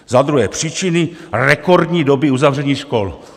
Za druhé, příčiny rekordní doby uzavření škol.